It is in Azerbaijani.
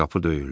Qapı döyüldü.